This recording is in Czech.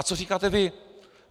A co říkáte vy?